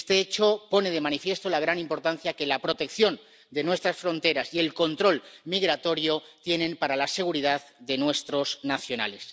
Este hecho pone de manifiesto la gran importancia que la protección de nuestras fronteras y el control migratorio tienen para la seguridad de nuestros nacionales.